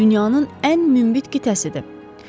Dünyanın ən münbit qitəsidir.